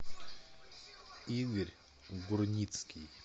игорь гурницкий